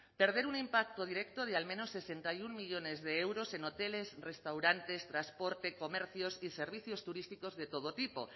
perder un impacto directo de al menos sesenta y uno millónes de euros en hoteles restaurantes transporte comercios y servicios turísticos de todo tipo